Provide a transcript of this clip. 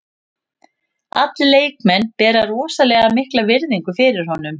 Allir leikmenn bera rosalega mikla virðingu fyrir honum.